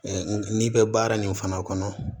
n'i bɛ baara nin fana kɔnɔ